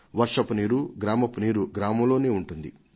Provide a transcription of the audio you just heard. వర్షపు నీరు గ్రామపు నీరు గ్రామంలోనే ఉంటుంది